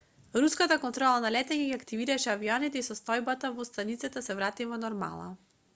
руската контрола на летање ги активираше авионите и состојбата во станицата се врати во нормала